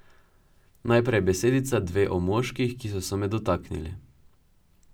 Najprej besedica, dve, o moških, ki so se me dotaknili.